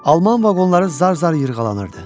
Alman vaqonları zar-zar yırğalanırdı.